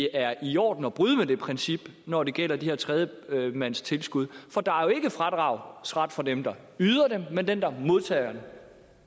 er i orden at bryde med det princip når det gælder de her tredjemandstilskud for der er jo ikke fradragsret for den der yder dem men den der modtager dem